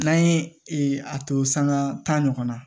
N'an ye a to sanŋa tan ɲɔgɔn na